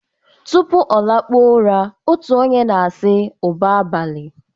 tupu ọ lakpuo ụra, otu onye na-asị 'ụba abalị'